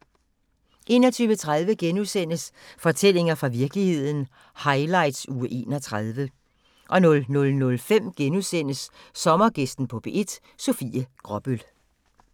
21:30: Fortællinger fra virkeligheden – highlights uge 31 * 00:05: Sommergæsten på P1: Sofie Gråbøl *